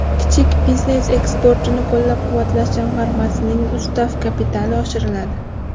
Kichik biznes eksportini qo‘llab-quvvatlash jamg‘armasining ustav kapitali oshiriladi.